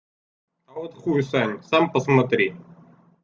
а вот хуй саша сам посмотри